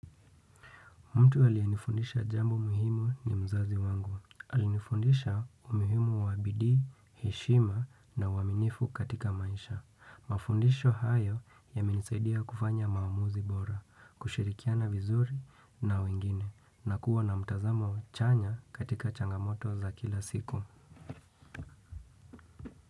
Mtu alienifundisha jambo muhimu ni mzazi wangu. Alinifundisha umuhimu wa bidii, heshima na uwaminifu katika maisha. Mafundisho hayo yamenisaidia kufanya maamuzi bora, kushirikiana vizuri na wengine, na kuwa na mtazamo chanya katika changamoto za kila siku.